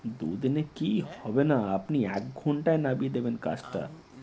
দুদিনে কি হবে না আপনি এক ঘন্টায় নামিয়ে দেবেন কাজটা